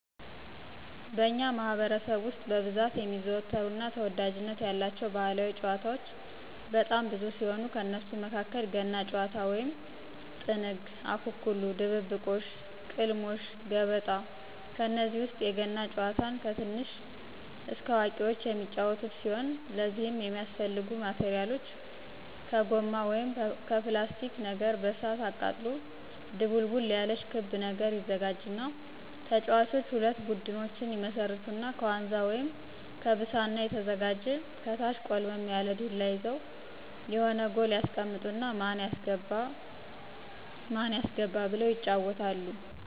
በእኛ ማህበረሰብ ውስጥ በብዛት የሚዘወተሩ እና ተወዳጅነት ያላቸው ባህላዊ ጭዋታዎች በጣም ብዙ ሲሆኑ ከነሱም መካከል ገና ጭዋታ ወይም ጥንግ፣ አኮኩሉ ድብብቆሽ፣ ቅልሞሽ፣ ገበጣ፣ ከነዚህ ውስጥ የገና ጭዋታን ከትንሽ እስከ አዋቁዎች የሚጫዎቱት ሲሆን ለዚህም የሚያስፈልጉ ማቴራሎች ከጎማ ወይም ከላስቲክ ነገር በእሳት አቃጥሎ ድቡልቡል ያለች ክብ ነገር ይዘጋጅና ተጫዋቾች ሁለት ቡድኖች ይመሰርቱና ከዋንዛ ወይም ከብሳና የተዘጋጀ ከታች ቆልመም ያለ ዱላ ይዘው የሆነ ጎል ያስቀምጡና ማን ያስገባ ማን ያስገባ ብለው ይጫዎታሉ።